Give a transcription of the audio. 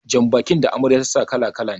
Jan bakin da Amarya ta sa kala- kala ne